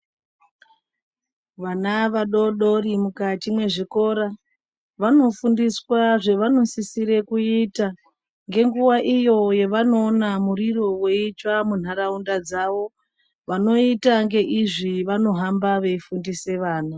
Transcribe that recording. Vana vadodori mukati mezvikora vanofundiswa zvevanosisira kuita ngenguwa iyo yavanoona moriro yeitsva mundaraunda dzavo vanoita ngeizvi vanohamba veifundisa vana.